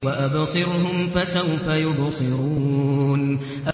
وَأَبْصِرْهُمْ فَسَوْفَ يُبْصِرُونَ